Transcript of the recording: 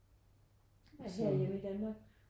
Er det herhjemme i Danmark?